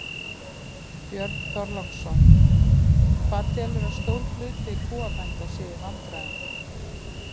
Björn Þorláksson: Hvað telurðu að stór hluti kúabænda sé í vandræðum?